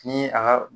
Ni a ka